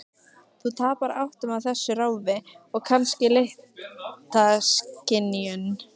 Þú tapar áttum á þessu ráfi, og kannski litaskynjun.